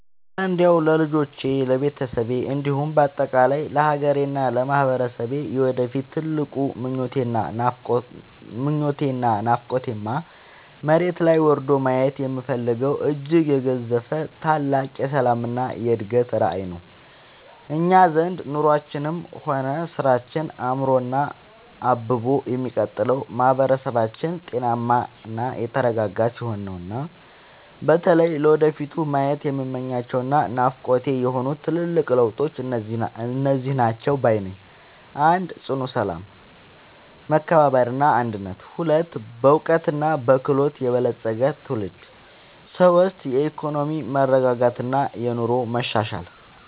እረ እንደው ለልጆቼ፣ ለቤተሰቤ እንዲሁም በአጠቃላይ ለሀገሬና ለማህበረሰቤ የወደፊት ትልቁ ምኞቴና ናፍቆቴማ፣ መሬት ላይ ወርዶ ማየት የምፈልገው እጅግ የገዘፈ ታላቅ የሰላምና የእድገት ራዕይ ነው! እኛ ዘንድ ኑሯችንም ሆነ ስራችን አምሮና አብቦ የሚቀጥለው ማህበረሰባችን ጤናማና የተረጋጋ ሲሆን ነውና። በተለይ ለወደፊቱ ማየት የምመኛቸውና ናፍቆቴ የሆኑት ትልልቅ ለውጦች እነዚህ ናቸው ባይ ነኝ፦ 1. ጽኑ ሰላም፣ መከባበርና አንድነት 2. በዕውቀትና በክህሎት የበለፀገ ትውልድ 3. የኢኮኖሚ መረጋጋትና የኑሮ መሻሻል